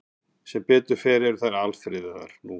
Sem betur fer eru þær nú alfriðaðar.